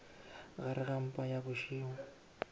gare ga mpa ya bošego